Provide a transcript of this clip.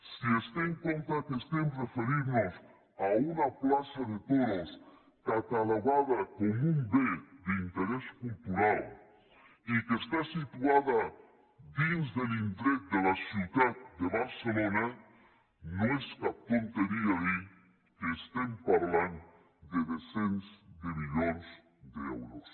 si es té en compte que estem referint nos a una plaça de toros catalogada com un bé d’interès cultural i que està situada dins de l’indret de la ciutat de barcelona no és cap tonteria dir que estem parlant de cents de milions d’euros